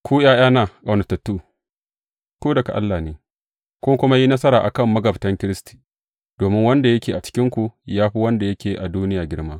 Ku, ’ya’yana ƙaunatattu, ku daga Allah ne, kun kuma yi nasara a kan magabtan Kiristi, domin wanda yake a cikinku ya fi wanda yake a duniya girma.